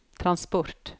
transport